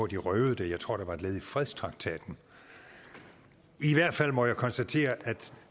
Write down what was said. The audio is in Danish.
de røvede det jeg tror det var et led i fredstraktaten i hvert fald må jeg konstatere at